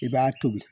I b'a tobi